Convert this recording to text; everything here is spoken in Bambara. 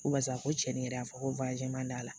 Ko barisa ko cɛnin yɛrɛ y'a fɔ ko man d'a la